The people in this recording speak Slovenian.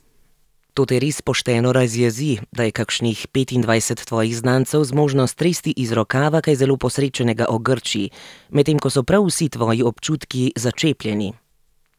To te res pošteno razjezi, da je kakšnih petindvajset tvojih znancev zmožno stresti iz rokava kaj zelo posrečenega o Grčiji, medtem ko so prav vsi tvoji občutki začepljeni.